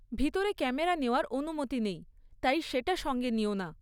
ভিতরে ক্যামেরা নেওয়ার অনুমতি নেই, তাই সেটা সঙ্গে নিও না।